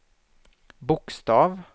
bokstav